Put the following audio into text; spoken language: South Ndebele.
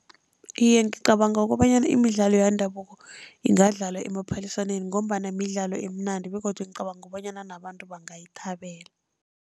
Iye, ngicabanga kobanyana imidlalo yendabuko ingadlalwa emaphaliswaneni, ngombana midlalo emnandi begodu ngicabanga bonyana nabantu bangayithabela.